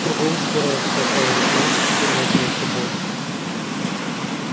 кругом собирается толпа и он знает что скоро начнётся бой